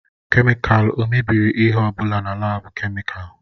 Kemịkalụ o mebiri ihe ọ bụla na laabu kemịkalụ?